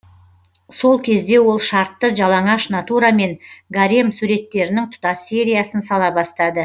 сол кезде ол шартты жалаңаш натурамен гарем суреттерінің тұтас сериясын сала бастады